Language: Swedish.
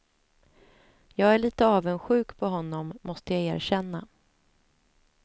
Jag är lite avundsjuk på honom, måste jag erkänna.